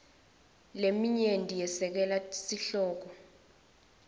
leminyenti yesekela sihloko